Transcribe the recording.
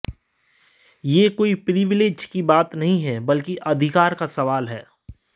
यह कोई प्रिविलेज की बात नहीं है बल्कि अधिकार का सवाल है